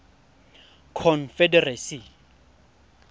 confederacy